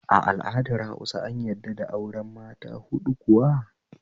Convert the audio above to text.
A al'adar Hausa an yadda da auren mata huɗu kuwa?